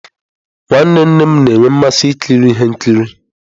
Nwanne nnem na-enwe mmasị ikiri ihe nkiri.